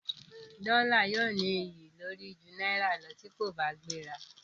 Dọ́là yóò ní iyì lórí ju náírà lọ tí kò bá gbéra.